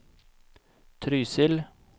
Trysil